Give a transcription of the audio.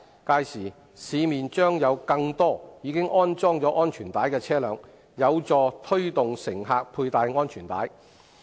屆時，市面將有更多已安裝安全帶的車輛，有助推動乘客佩戴安全帶。